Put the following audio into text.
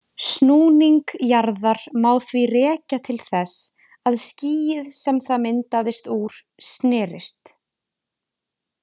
Snúning jarðar má því rekja til þess að skýið sem það myndaðist úr snerist.